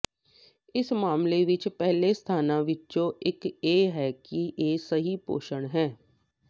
ਇਸ ਮਾਮਲੇ ਵਿੱਚ ਪਹਿਲੇ ਸਥਾਨਾਂ ਵਿੱਚੋਂ ਇੱਕ ਇਹ ਹੈ ਕਿ ਇਹ ਸਹੀ ਪੋਸ਼ਣ ਹੈ